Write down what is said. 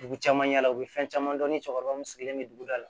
Dugu caman yala u bɛ fɛn caman dɔn ni cɛkɔrɔba mun sigilen don dugu da la